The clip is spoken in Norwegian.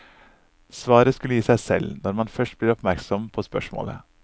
Svaret skulle gi seg selv, når man først blir oppmerksom på spørsmålet.